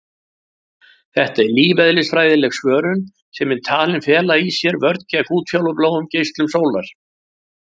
Þetta er lífeðlisfræðileg svörun sem er talin fela í sér vörn gegn útfjólubláum geislum sólar.